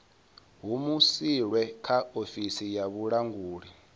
humusilwe kha ofisi ya vhulanguli